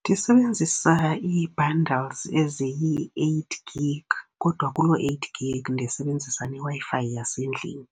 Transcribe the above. Ndisebenzisa i-bundles eziyi-eight gig. Kodwa kuloo eight gig ndisebenzisa neWi-Fi yasendlini.